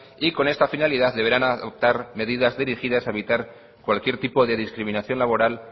y con esta finalidad deberán adoptar cualquier tipo de discriminación laboral